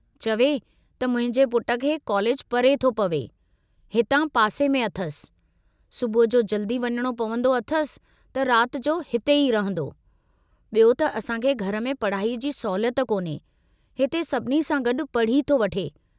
चवे त मुंहिंजे पुट खे कॉलेज परे थो पवे हितां पासे में अथसि, सुबुह जो जल्दी वञणो पवंदो अथसि त रात जो हिते ई रंहदो, ॿियो त असांखे घर में पढ़ाईअ जी सहुलियत कोन्हे, हिते सभिनी सां गॾु पढ़ी थो वठे।